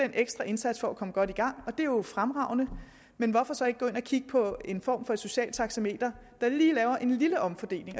ekstra indsats for at komme godt i gang og det er jo fremragende men hvorfor så ikke gå ind og kigge på en form for socialt taxameter der lige laver en lille omfordeling